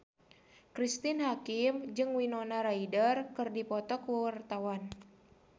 Cristine Hakim jeung Winona Ryder keur dipoto ku wartawan